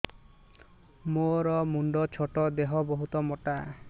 ମୋର ମୁଣ୍ଡ ଛୋଟ ଦେହ ବହୁତ ମୋଟା